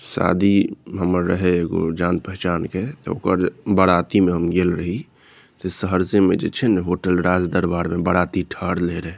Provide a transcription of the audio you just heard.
शादी हमर रहे एगो जान पहचान के ओकर बाराती में हम गेल रही सहरसे में जे छै ने होटल राज दरबार में बाराती ठहरले रहे।